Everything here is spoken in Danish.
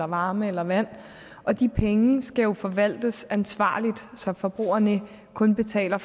varme eller vand de penge skal jo forvaltes ansvarligt så forbrugerne kun betaler